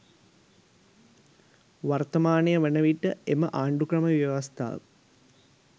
වර්තමානය වනවිට එම ආණඩුක්‍රම ව්‍යවස්ථාව